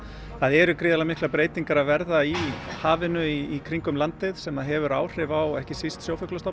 það eru gríðarlega miklar breytingar að verða í hafinu í kringum landið sem hefur áhrif á ekki síst